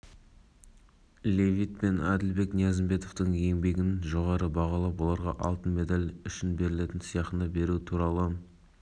василий левит пен әділбек ниязымбетовке алтынға берілетін олимпиадалық сыйақыны табыстау рәсімі астанада желтоқсанда өтеді біздің спортшылар